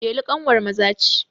Delu ƙanwar Maza ce.